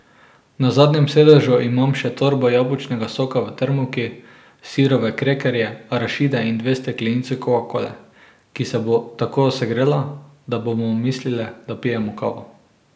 Na zadnjem sedežu imam še torbo jabolčnega soka v termovki, sirove krekerje, arašide in dve steklenici kokakole, ki se bo tako segrela, da bomo mislile, da pijemo kavo.